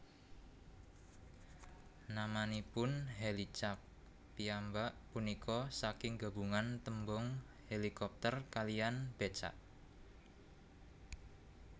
Namanipun Hèlicak piyambak punika saking gabungan tembung hélikopter kaliyan bécak